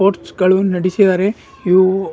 Sports ಗಳು ನಡಿಸಿದಾರೆ ಇವು.